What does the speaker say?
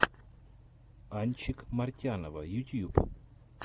анчик мартянова ютюб